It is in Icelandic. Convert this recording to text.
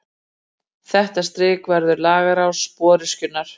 Þetta strik verður langás sporöskjunnar.